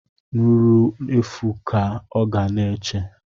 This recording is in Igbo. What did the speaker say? Nruro efu ka ọ ga na-eche